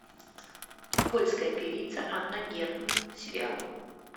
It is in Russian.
польская певица анна герман сериал